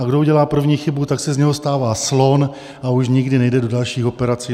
A kdo udělá první chybu, tak se z něho stává slon a už nikdy nejde do dalších operací.